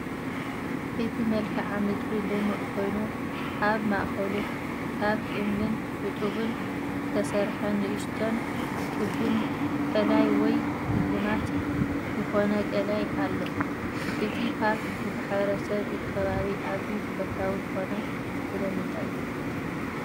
እቲ መልክዓ ምድሪ ልሙዕ ኮይኑ፡ ኣብ ማእከሉ ካብ እምንን ሕጡብን ዝተሰርሐ ንእሽቶን ክቢን ቐላይ ወይ ስልማት ዝኾነ ቐላይ ኣሎ። እቲ ፓርክ ብማሕበረሰብ እቲ ከባቢ ኣዝዩ ተፈታዊ ዝዀነ ስለምንታይ እዩ?